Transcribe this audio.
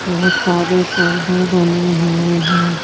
बहुत सारे पर्दे डले हुए हैं।